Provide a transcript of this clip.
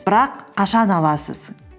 бірақ қашан аласыз